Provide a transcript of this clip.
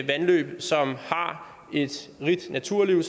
vandløb som har et rigt naturliv